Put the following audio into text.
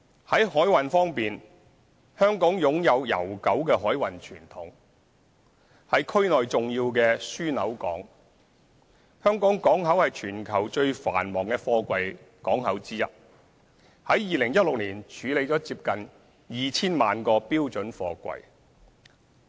在海運方面，香港擁有悠久的海運傳統，是區內重要的樞紐港；香港港口是全球最繁忙的貨櫃港口之一 ，2016 年處理了接近 2,000 萬個標準貨櫃。